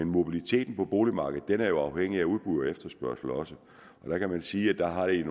mobiliteten på boligmarkedet er jo også afhængig af udbud og efterspørgsel og der kan man sige at der i